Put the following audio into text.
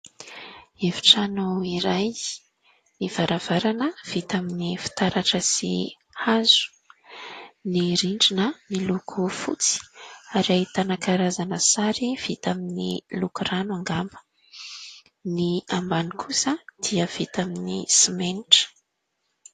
Efitrano iray : ny varavarana vita amin'ny fitaratra sy hazo, ny rindrina miloko fotsy ary ahitana karazana sary vita amin'ny lokon-drano angamba, ny ambany kosa dia vita amin'ny simenitra.